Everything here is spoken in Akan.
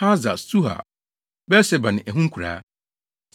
Hasar-Sual, Beer-Seba ne ɛho nkuraa,